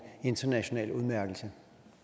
international udmærkelse